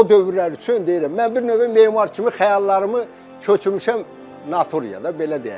O dövrlər üçün deyirəm, mən bir növ memar kimi xəyallarımı köçürmüşəm naturiyada, belə deyək.